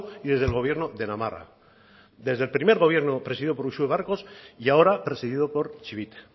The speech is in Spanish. y desde el gobierno de navarra desde el primer gobierno presidido por uxue barkos y ahora presidido por chivite